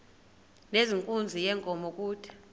nezenkunzi yenkomo kude